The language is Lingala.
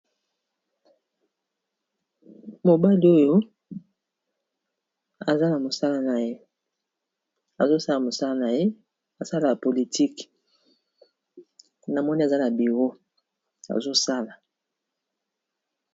Mobali oyo aza musala naya azo sala mosala na ye mosala ya politique namoni azala bureau naye azosala.